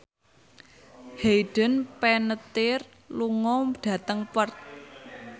Hayden Panettiere lunga dhateng Perth